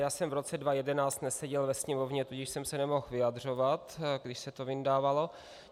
Já jsem v roce 2011 neseděl ve Sněmovně, tudíž jsem se nemohl vyjadřovat, když se to vyndavalo.